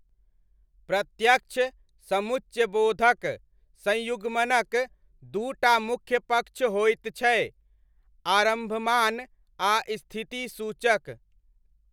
प्रत्यक्ष सम्मुचयबोधक संयुग्मनक दू टा मुख्य पक्ष होइत छै, आरम्भमाण आ स्थिति सूचक।